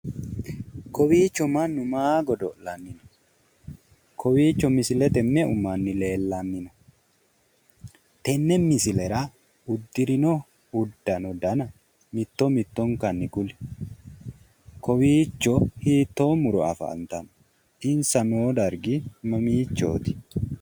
kowiicho mannu maa godo'lanni no kowiicho misilete mannu leellanno tenne misilera uddirino uddano dana mitto mittonkanni kuli kowiicho hittoo muro afantanno insa noo dargi mamiichooti?